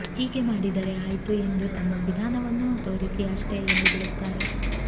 ಹೀಗೆ ಮಾಡಿದರೆ ಆಯಿತು ಎಂದು ತಮ್ಮ ವಿಧಾನವನ್ನು ತೋರಿಸಿ ಅಷ್ಟೇ ಎಂದುಬಿಡುತ್ತಾರೆ